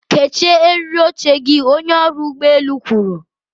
kechie eriri oche gị, onye ọrụ ụgbọ elu kwuru.